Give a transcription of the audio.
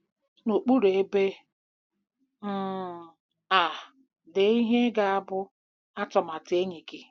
N'okpuru ebe um a, dee ihe ga-abụ 'atụmatụ enyi gị.